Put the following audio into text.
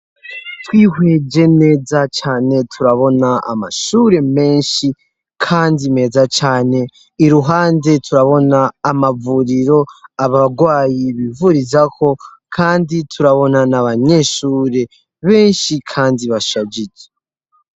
Twihweje neza cane turabona amashure menshi kandi meza cane iruhande turabona amavuriro abarwayi bivurizaho kandi turabona n'abanyeshure benshi kandi bashajije.